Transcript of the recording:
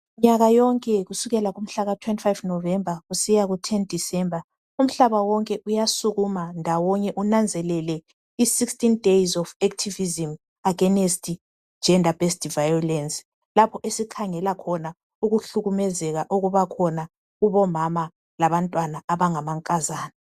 Minyaka yonke kusela 15 November kusiya 10 December umhlaba wonke uyasukuma against activism , against gender based violence lapha esikhangela khona kubomama labantwana abangamankazana.